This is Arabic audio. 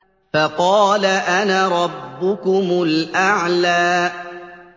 فَقَالَ أَنَا رَبُّكُمُ الْأَعْلَىٰ